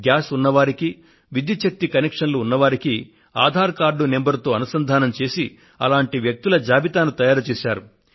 gas ఉన్నవారికి విద్యుత్ శక్తి కనెక్షన్లు ఉన్నవారికి ఆధార్ కార్డు సంఖ్య తో అనుసంధానం చేసి అటువంటి వ్యక్తుల జాబితాను తయారుచేశారు